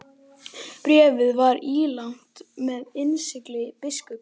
Bréfið var ílangt og með innsigli biskups.